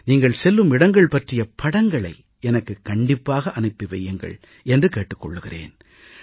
நீங்கள் செல்லும் இடங்கள் பற்றிய படங்களை எனக்குக் கண்டிப்பாக அனுப்பி வையுங்கள் என்று கேட்டுக் கொள்கிறேன்